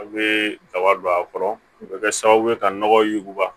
A bɛ daba don a kɔrɔ o bɛ kɛ sababu ye ka nɔgɔ yuguba